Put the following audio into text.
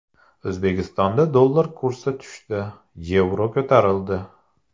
O‘zbekistonda dollar kursi tushdi, yevro ko‘tarildi.